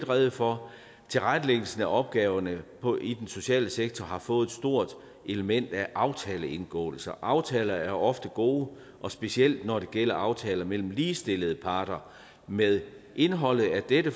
rede for tilrettelæggelsen af opgaverne i den sociale sektor har fået et stort element af aftaleindgåelser aftaler er ofte gode og specielt når det gælder aftaler mellem ligestillede parter med indholdet af dette